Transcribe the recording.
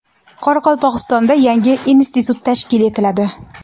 Qoraqalpog‘istonda yangi institut tashkil etiladi.